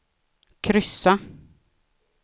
kryssa